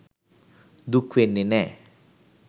දුක් වෙන්නේ නෑ.